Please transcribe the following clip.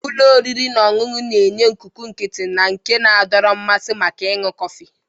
Ụlọ oriri na ọṅụṅụ na-enye ikuku nkịtị na nke na-adọrọ mmasị maka ịṅụ kọfị.